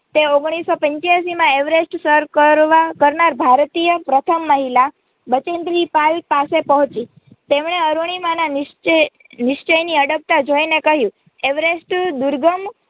તે ઓગણીસસો પંચાયસી માં અવેરેસ્ટ સર કરનાર ભારતીય પ્રથમ મહિલા બચેન્દ્રી પાલ પાસે પહોંચી તેમણે અરૂણિમાના નિશ્ચયની અડગતા જોઈને કહ્યું અવેરેસ્ટ દુર્ગમ